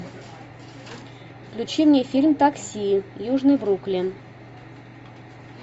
включи мне фильм такси южный бруклин